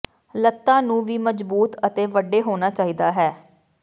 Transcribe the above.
ਲਤ੍ਤਾ ਨੂੰ ਵੀ ਮਜ਼ਬੂਤ ਅਤੇ ਵੱਡੇ ਹੋਣਾ ਚਾਹੀਦਾ ਹੈ